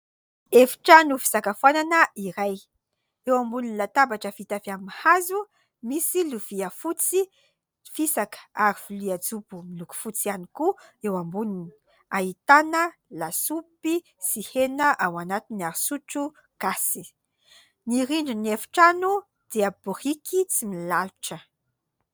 Efitrano fisakafonana iray. Eo ambonin'ny latabatra vita avy amin'ny hazo : misy lovia fotsy fisaka ary lovia jobo miloko fotsy ihany koa, eo amboniny ahitana lasopy sy hena ao anatin'ny ary sotro gasy ny rindrin'ny efitrano dia biriky tsy milalotra.